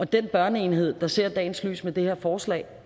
den børneenhed der ser dagens lys med det her forslag